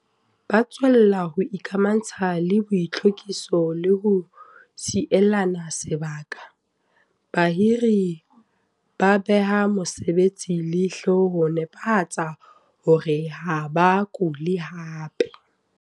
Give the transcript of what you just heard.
Ba tswella ho ikamantsha le boitlhwekiso le ho sielana sebaka. Bahiri ba beha mosebetsi leihlo ho netefatsa hore ha ba kule hape.